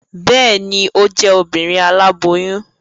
Bẹẹni, o jẹ Obìnrin aláboyún